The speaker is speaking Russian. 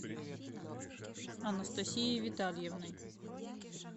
анастасией витальевной